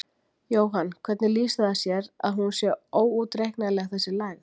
Jóhann: Hvernig lýsir það sér að hún sé óútreiknanleg þessi lægð?